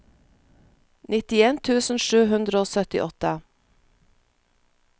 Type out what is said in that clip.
nittien tusen sju hundre og syttiåtte